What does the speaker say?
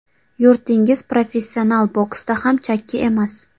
Yurtingiz professional boksda ham chakki emas.